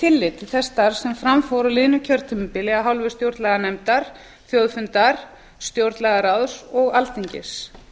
tillit til þess starfs sem fram fór á liðnu kjörtímabili af hálfu stjórnlaganefndar þjóðfundar stjórnlagaráðs og alþingis